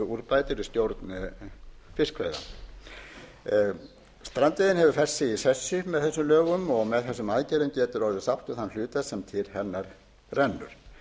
úrbætur í stjórn fiskveiða strandveiðin hefur fest sig í sessi með þessum lögum og með þessum aðgerðum getur orðið sátt um þann hluta sem til hennar rennur